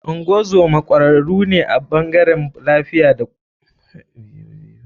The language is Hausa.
Ngozoma kwararu ne a bangarewn lafiya da bada kula lokacin aihuwa.